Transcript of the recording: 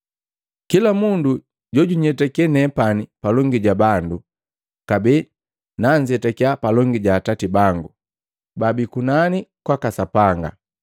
“Kila mundu jojunyetake nepani palongi ja bandu, kabee nanzetakiya palongi ja Atati bangu baabii kunani kwaka Sapanga.